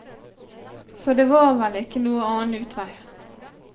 Så det var vel ikke noen annen utvei.